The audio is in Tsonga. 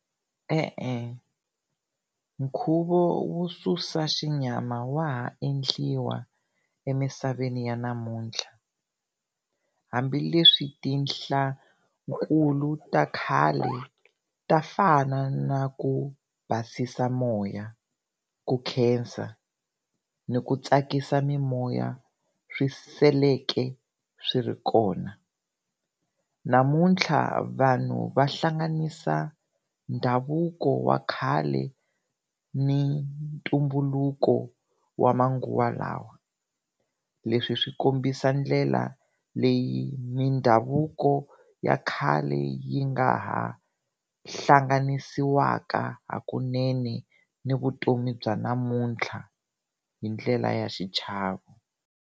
E-e nkhuvo wo susa xinyama wa ha endliwa emisaveni ya namuntlha hambileswi tinhla nkulu ta khale ta fana na ku basisa moya, ku khensa ni ku tsakisa mimoya swi seleke swi ri kona. Namuntlha vanhu va hlanganisa ndhavuko wa khale ni ntumbuluko wa manguva lawa, leswi swi kombisa ndlela leyi mindhavuko ya khale yi nga ha hlanganisiwaka hakunene ni vutomi bya namuntlha hi ndlela ya xichavo.